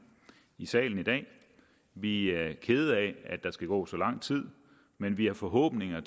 i salen i dag vi er kede af at der skal gå så lang tid men vi har forhåbninger